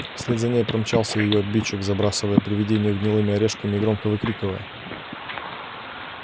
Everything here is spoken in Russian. вслед за ней промчался и её обидчик забрасывая привидение гнилыми орешками и громко выкрикивая